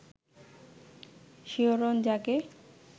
শিহরণ জাগে